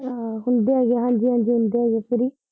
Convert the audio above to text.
ਹ ਹੁੰਦੇ ਆ ਜੀ, ਹਾਂਜੀ ਹਾਂਜੀ ਹੁੰਦੇ ਆ